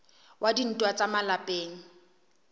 wa dintwa tsa ka malapeng